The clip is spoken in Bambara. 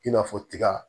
I n'a fɔ tiga